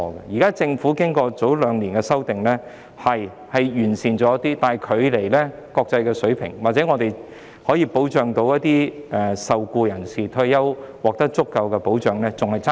雖然政府早兩年作出修訂後，有關情況稍為有所改善，但距離國際水平還有很大距離，亦遠遠未能確保受僱人士在退休時獲得足夠的保障。